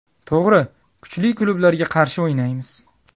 To‘g‘ri, kuchli klublarga qarshi o‘ynaymiz.